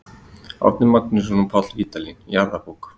Árni Magnússon og Páll Vídalín: Jarðabók.